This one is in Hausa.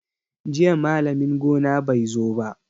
Jiya malamin gona bai zo ba.